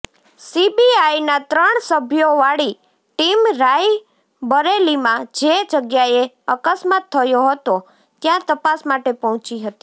સીબીઆઇના ત્રણ સભ્યોવાળી ટીમ રાયબરેલીમાં જે જગ્યાએ અકસ્માત થયો હતો ત્યાં તપાસ માટે પહોંચી હતી